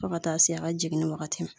Fo ka taa se a ka jiginni wagati ma.